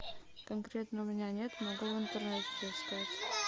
конкретно у меня нет могу в интернете поискать